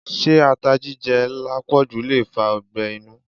Se ata jíjẹ lápòjù le fa ọgbẹ́ inú?